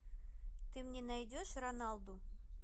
ты мне найдешь роналду